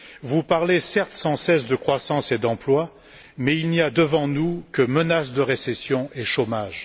Vous parlez, certes, sans cesse, de croissance et d'emploi, mais il n'y a devant nous que des menaces de récession et de chômage.